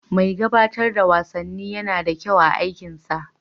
Mai gabatar da wasanni yana da kyau a aikinsa.